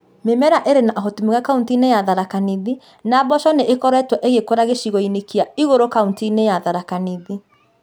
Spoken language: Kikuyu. Mĩmera ĩrĩ na ũhoti mwega kauntĩ-inĩ ya Tharaka Nithi, na mboco nĩ ikoretwo igĩkũra gĩcigo-inĩ kĩa igũrũ kauntĩ-inĩ ya Tharaka Nithi.